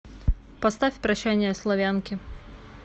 поставь прощание славянки